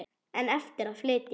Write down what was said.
En eftir er að lyfta.